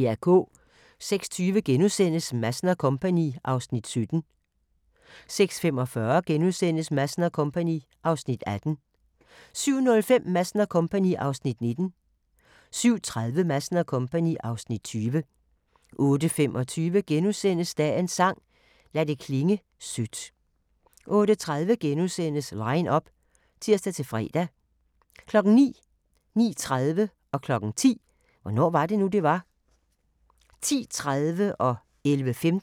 06:20: Madsen & Co. (Afs. 17)* 06:45: Madsen & Co. (Afs. 18)* 07:05: Madsen & Co. (Afs. 19) 07:30: Madsen & Co. (Afs. 20) 08:25: Dagens sang: Lad det klinge sødt * 08:30: Line up *(tir-fre) 09:00: Hvornår var det nu, det var? 09:30: Hvornår var det nu, det var? 10:00: Hvornår var det nu, det var? 10:30: aHA! *